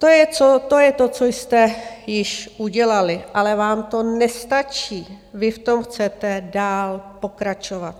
To je to, co jste již udělali, ale vám to nestačí, vy v tom chcete dál pokračovat.